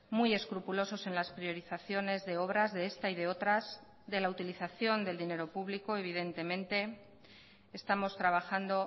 muy escrupulosos en las priorizaciones de obras de esta y de otras de la utilización del dinero público evidentemente estamos trabajando